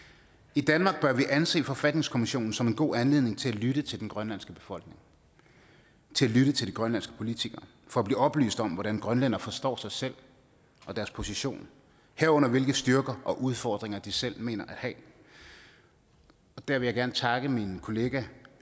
i danmark bør vi anse forfatningskommissionen som en god anledning til at lytte til den grønlandske befolkning lytte til de grønlandske politikere for at blive oplyst om hvordan grønlændere forstår sig selv og deres position herunder hvilke styrker og udfordringer de selv mener at have der vil jeg gerne takke min kollega